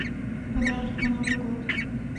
подарок на новый год